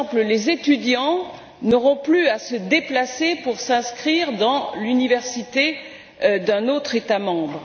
Les étudiants, par exemple, n'auront plus à se déplacer pour s'inscrire dans l'université d'un autre État membre.